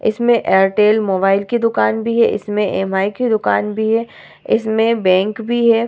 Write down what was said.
इसमें एयरटेल मोबाइल की दूकान भी है इसमें एम.आई. की दूकान भी है इसमें बैंक भी है ।